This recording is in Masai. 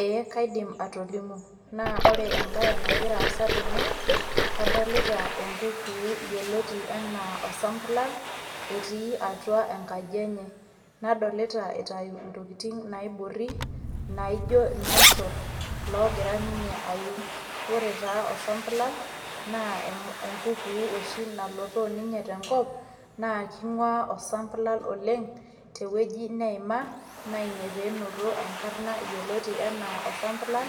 Ee kaidim atolimu. Na ore ebae nagira aasa tene, kadolita enkukuu yioloti enaa osambulal, etii atua enkaji enye. Nadolita itayu intokiting naiborri, naijo irmosor logira ninye ayu. Ore taa osambulal, naa enkukuu oshi nalotoo ninye tenkop, na king'ua osambulal oleng',tewoji neima, na ina penoto enkarna yioloti enaa osambulal,